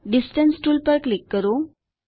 distance tool પર click કરો